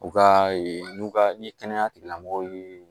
U ka ee n'u ka kɛnɛya tigilamɔgɔw ye